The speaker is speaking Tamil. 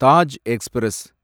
தாஜ் எக்ஸ்பிரஸ்